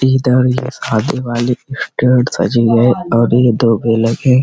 शादी वाली स्टेज सजी है और ये दो हैं।